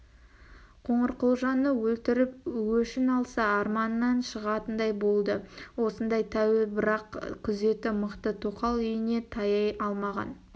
қоңырқұлжаны өлтіріп өшін алса арманынан шығатындай болды осындай тәуе бірақ күзеті мықты тоқал үйіне таяй алмаған